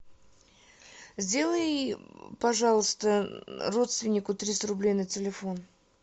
сделай пожалуйста родственнику триста рублей на телефон